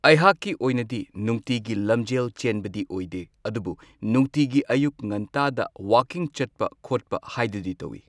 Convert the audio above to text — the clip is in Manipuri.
ꯑꯩꯍꯥꯛꯀꯤ ꯑꯣꯏꯅꯗꯤ ꯅꯨꯡꯇꯤꯒꯤ ꯂꯝꯖꯦꯜ ꯆꯦꯟꯕꯗꯤ ꯑꯣꯏꯗꯦ꯫ ꯑꯗꯨꯕꯨ ꯅꯨꯡꯇꯤꯒꯤ ꯑꯌꯨꯛ ꯉꯟꯇꯥꯗ ꯋꯥꯀꯤꯡ ꯆꯠꯄ ꯈꯣꯠꯄ ꯍꯥꯏꯗꯨꯗꯤ ꯇꯧꯋꯤ꯫